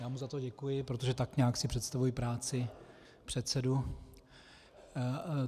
Já mu za to děkuji, protože tak nějak si představuji práci předsedů.